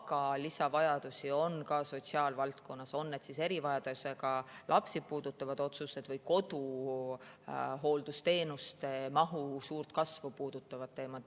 Aga lisavajadusi on ka sotsiaalvaldkonnas, on need siis erivajadusega lapsi puudutavad otsused või koduhooldusteenuste mahu suurt kasvu puudutavad teemad.